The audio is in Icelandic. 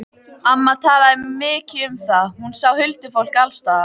Amma talaði mikið um það, hún sá huldufólk alls staðar.